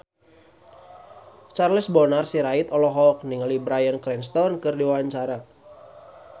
Charles Bonar Sirait olohok ningali Bryan Cranston keur diwawancara